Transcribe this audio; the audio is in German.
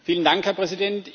Herr Präsident!